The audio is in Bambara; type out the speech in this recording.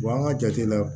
an ka jate la